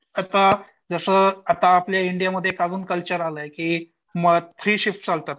आता जसं आता आपल्या इंडियामध्ये एक अजून कल्चर आलाय की थ्री शिफ्ट चालतात.